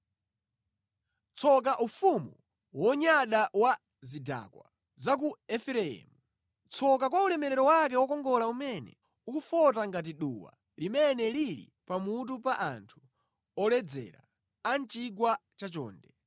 Tsoka ufumu wonyada wa zidakwa za ku Efereimu. Tsoka kwa ulemerero wake wokongola umene ukufota ngati duwa limene lili pa mutu pa anthu oledzera a mʼchigwa chachonde.